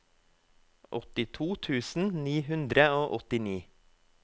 åttito tusen ni hundre og åttini